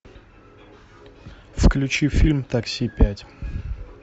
включи фильм такси пять